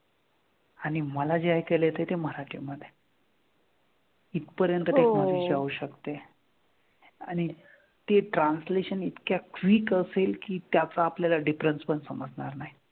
आणि मला जे ऐकायला येतंय ते मराठी मध्ये. इथपर्यंत technology जाऊ शकते. आणि ते translation इतक्या quick असेल की त्याचा आपल्याला difference पण समजणार नाही.